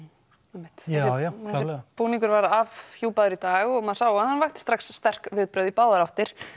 einmitt jájá klárlega búningur var afhjúpaður í dag og maður sá að hann vakti strax sterk viðbrögð í báðar áttir